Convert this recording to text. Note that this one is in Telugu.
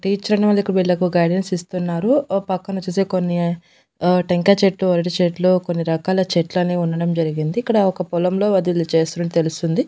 టీచర్ అనే వాళ్ళకు వీళ్ళకు గైడెన్స్ ఇస్తున్నారు ఓ పక్కనొచ్చేసి కొన్ని ఆ టెంకాయ చెట్లు అరటి చెట్లు కొన్ని రకాల చెట్లన్ని ఉండడం జరిగింది ఇక్కడ ఒక పొలంలో వాళ్ళు దీన్ని చేస్తున్నట్లు తెలుస్తుంది.